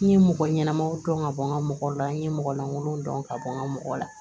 N ye mɔgɔ ɲɛnamaw dɔn ka bɔ n ka mɔgɔ la n ye mɔgɔ lankolonw dɔn ka bɔ n ka mɔgɔ la